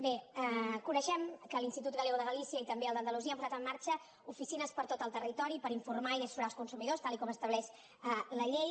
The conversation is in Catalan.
bé coneixem que l’institut galegoel d’andalusia han posat en marxa oficines per tot el territori per informar i assessorar els consumidors tal com estableix la llei